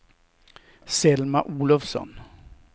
Selma Olovsson